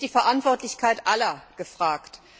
Hier ist die Verantwortlichkeit aller gefragt.